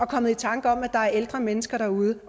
kommet i tanker om at der er ældre mennesker derude